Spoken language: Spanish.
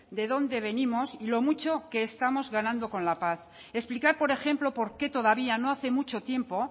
de dónde venimos y lo mucho que estamos ganando con la paz explicar por ejemplo por qué todavía no hace mucho tiempo